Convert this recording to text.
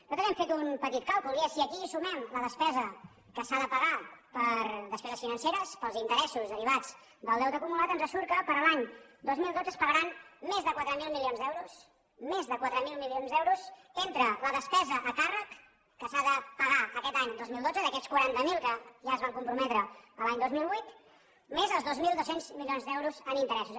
nosaltres hem fet un petit càlcul i és si aquí hi sumem la despesa que s’ha de pagar per a despeses financeres per als interessos derivats del deute acumulat ens surt que per a l’any dos mil dotze es pagaran més de quatre mil milions d’euros més de quatre mil milions d’euros entre la despesa a càrrec que s’ha de pagar aquest any dos mil dotze d’aquests quaranta miler que ja es van comprometre l’any dos mil vuit més els dos mil dos cents milions d’euros en interessos